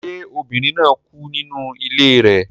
Ṣé obìnrin náà kú nínú ilé rẹ